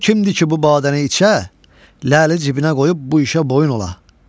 O kimdir ki, bu badəni içə, ləli cibinə qoyub bu işə boyun ola?